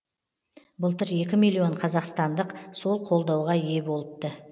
былтыр екі миллион қазақстандық сол қолдауға ие болыпты